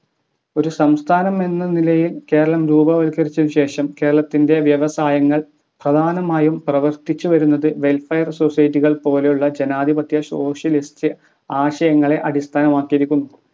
ഒരു സംസ്ഥാനം എന്ന നിലയിൽ കേരളം രൂപവത്കരിച്ചതിനു ശേഷം കേരളത്തിന്റെ വ്യവസായങ്ങൾ പ്രധാനമായും പ്രവർത്തിച്ച് വരുന്നത് welfare society കൾ പോലെയുള്ള ജനാധിപത്യ socialist ആശയങ്ങളെ അടിസ്ഥാനമാക്കിയിരിക്കുന്നു